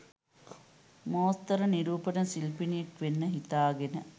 මෝස්තර නිරූපින ශිල්පිනියක් වෙන්න හිතාගෙන